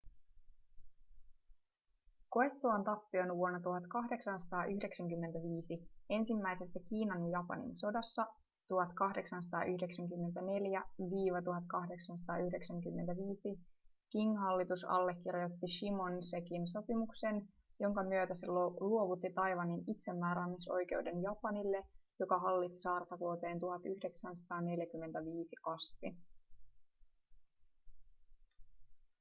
koettuaan tappion vuonna 1895 ensimmäisessä kiinan ja japanin sodassa 1894-1895 qing-hallitus allekirjoitti shimonosekin sopimuksen jonka myötä se luovutti taiwanin itsemääräämisoikeuden japanille joka hallitsi saarta vuoteen 1945 asti